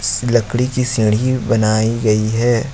इस लकड़ी की सीढ़ी बनाई गई है।